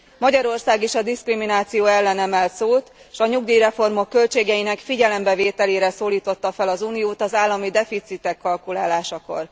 Magyarország is a diszkrimináció ellen emel szót, és a nyugdíjreformok költségeinek figyelembevételére szólította fel az Uniót az állami deficitek kalkulálásakor.